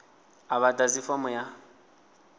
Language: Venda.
a vha ḓadzi fomo ya